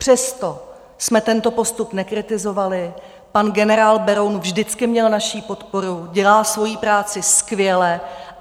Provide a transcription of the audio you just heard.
Přesto jsme tento postup nekritizovali, pan generál Beroun vždycky měl naši podporu, dělá svoji práci skvěle.